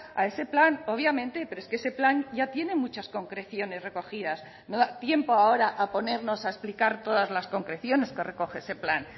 a ese plan obviamente pero es que ese plan ya tiene muchas concreciones recogidas no da tiempo ahora a ponernos a explicar todas las concreciones que recoge ese plan